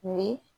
Ni